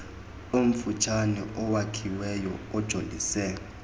omfutshane owakhiweyo ojolise